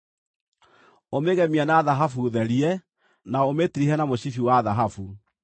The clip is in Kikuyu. Ũmĩgemie na thahabu therie, na ũmĩtirihe na mũcibi wa thahabu.